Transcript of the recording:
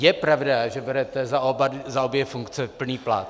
Je pravda, že berete za obě funkce plný plat?